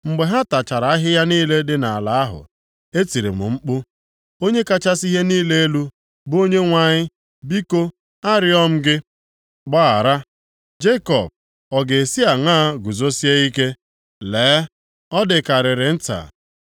Mgbe ha tachara ahịhịa niile dị nʼala ahụ, etiri m mkpu: “Onye kachasị ihe niile elu, bụ Onyenwe anyị biko arịọọ m gị, gbaghara. Jekọb ọ ga-esi aṅa guzosie ike? Lee, ọ dịkarịrị nta.”